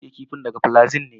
Na siya kifin daga paparazzi ne.